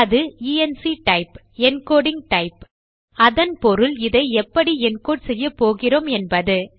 அது enctype encoding type அதன் பொருள் இதை எப்படி என்கோடு செய்யப்போகிறோம் என்பது